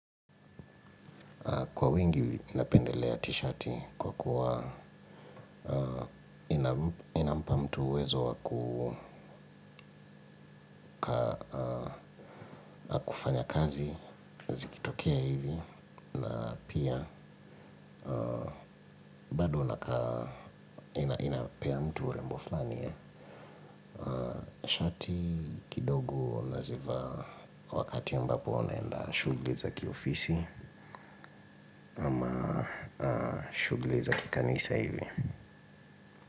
Kwa wingi ninapendelea t-shati kwa kuwa inampa mtu uwezo wa kufanya kazi zikitokea hivi na pia bado nakaa inapea mtu urembo flani ya shati kidogo na zivaa wakati ambapo naenda shughli za kiofisi, shugli za kikanisa hivi.